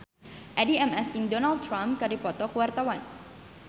Addie MS jeung Donald Trump keur dipoto ku wartawan